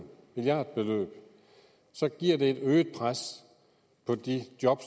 milliardbeløb så giver det et øget pres på de job